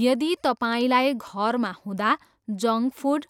यदि तपाईँलाई घरमा हुँदा जङ्क फुड,